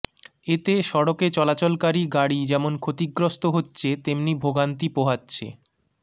এতে সড়কে চলাচলকারী গাড়ি যেমন ক্ষতিগ্রস্ত হচ্ছে তেমনি ভোগান্তি পোহাচ্ছে